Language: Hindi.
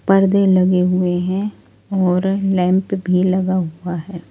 पर्दे लगे हुए हैं और लैंप भी लगा हुआ है।